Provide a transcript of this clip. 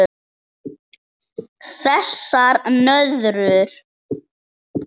Þessar nöðrur!